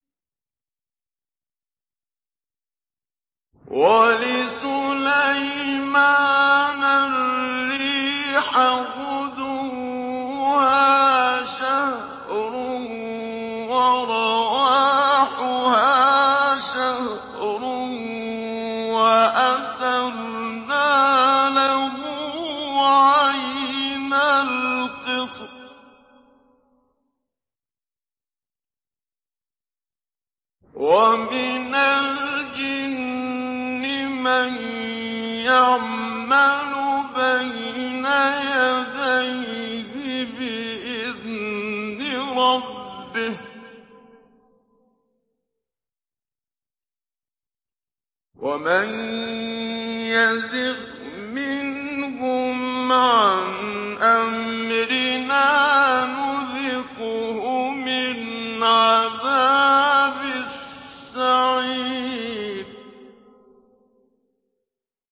وَلِسُلَيْمَانَ الرِّيحَ غُدُوُّهَا شَهْرٌ وَرَوَاحُهَا شَهْرٌ ۖ وَأَسَلْنَا لَهُ عَيْنَ الْقِطْرِ ۖ وَمِنَ الْجِنِّ مَن يَعْمَلُ بَيْنَ يَدَيْهِ بِإِذْنِ رَبِّهِ ۖ وَمَن يَزِغْ مِنْهُمْ عَنْ أَمْرِنَا نُذِقْهُ مِنْ عَذَابِ السَّعِيرِ